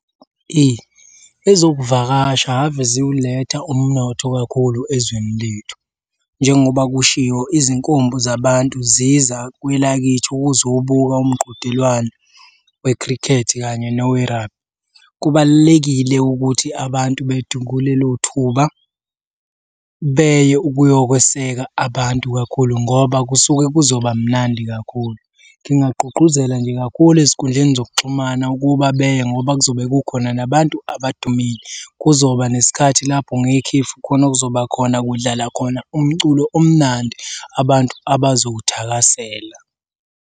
Eyi ezokuvakasha hhave ziwuletha umnotho kakhulu ezweni lethu, njengoba kushiwo izinkumbi zabantu ziza kwelakithi ukuzobuka umqhudelwano wekhrikhethi kanye nowe-rugby. Kubalulekile ukuthi abantu lelo thuba beye ukuyokweseka abantu kakhulu ngoba kusuke kuzoba mnandi kakhulu. Ngingagqugquzela nje kakhulu ezinkundleni zokuxhumana ukuba beye ngoba kuzobe kukhona nabantu abadumile. Kuzoba nesikhathi lapho ngekhefu khona kuzoba khona kudlala khona umculo omnandi abantu abazowuthakasela.